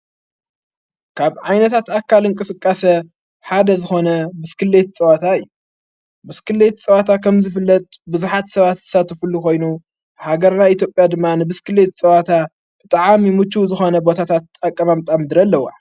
ካብ ዓይነታት ኣካል ንቀሥቃሰ ሓደ ዝኾነ ብስክልየት ጸዋታይ ብስክልየት ጸዋታ ከም ዝፍለት ብዙኃት ሰባት ዝሳተፍሉ ኾይኑ ሃገርና ኢትዮጴያ ድማን ብስክልየት ዝጸዋታ ብጥዓምይ ሙችይ ዝኾነ ቦታታት ኣቐማምጣ ምድሪ ኣለዋ፡፡